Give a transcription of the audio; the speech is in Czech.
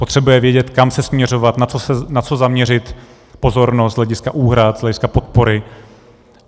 Potřebuje vědět, kam se směřovat, na co zaměřit pozornost z hlediska úhrad, z hlediska podpory.